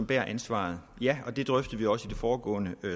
bærer ansvaret ja det drøftede vi også i det foregående